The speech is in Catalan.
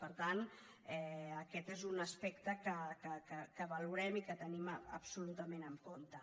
per tant aquest és un aspecte que valorem i que tenim absolutament en compte